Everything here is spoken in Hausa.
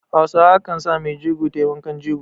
Hausa kan sa maijego ta yi wankan jego